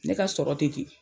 Ne ka sɔrɔ tɛ ten.